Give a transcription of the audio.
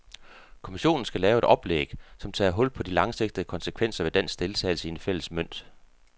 Kommissionen skal lave et oplæg, som tager hul på de langsigtede konsekvenser ved dansk deltagelse i den fælles mønt.